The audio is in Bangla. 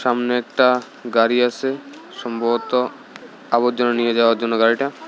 সামনে একটা গাড়ি আসে সম্ভবত আবর্জনা নিয়ে যাওয়ার জন্য গাড়িটা।